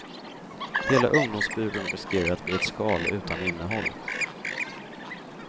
Hela ungdomsbyrån riskerar att bli ett skal utan innehåll.